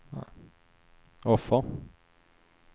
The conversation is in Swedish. offer